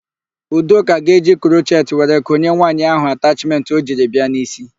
Udoka ga-eji krochet were konye nwaanyị ahụ atachmentị o jiri bịa n'ísí.